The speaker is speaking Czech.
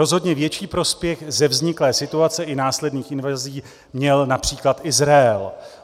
Rozhodně větší prospěch ze vzniklé situace i následných invazí měl například Izrael.